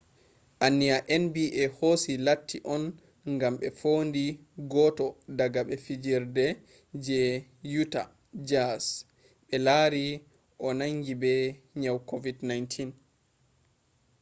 anniya nba hosi latti on ŋam ɓe fondi goto daga ɓi fijerde je uta jaz ɓe lari o nangi be nyau kovid-19